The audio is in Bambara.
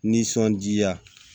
Nisɔndiya